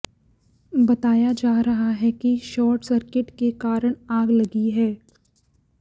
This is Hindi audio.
बताया जा रहा है कि शॉट सर्किट के कारण आग लगी है